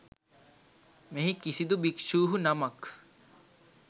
මෙහි කිසිදු භික්ෂූහු නමක්